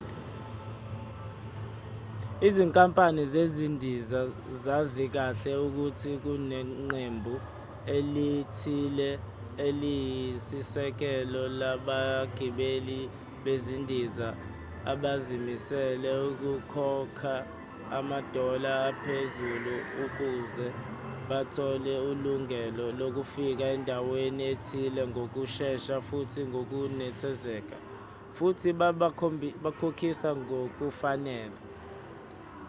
izinkampani zezindiza zazi kahle ukuthi kuneqembu elithile eliyisisekelo labagibeli bezindiza abazimisele ukukhokha ama-dollar aphezulu ukuze bathole ilungelo lofika endaweni ethile ngokushesha futhi ngokunethezeka futhi babakhokhisa ngokufanele